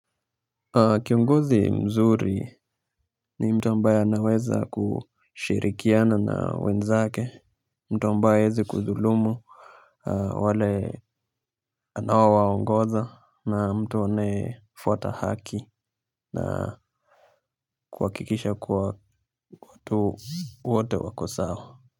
Kiongozi mzuri ni mtu ambaye anaweza kushirikiana na wenzake. Mtu ambaye haezi kudhulumu wale anaowaongoza na mtu anayefuata haki. Na kuhakikisha kuwa watu wote wako sawa Muzika.